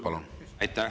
Palun!